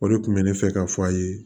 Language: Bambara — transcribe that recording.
O de kun bɛ ne fɛ ka fɔ a ye